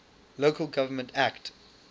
local government act